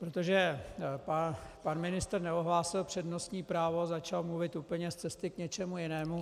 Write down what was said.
Protože pan ministr neohlásil přednostní právo, začal mluvit úplně z cesty k něčemu jinému.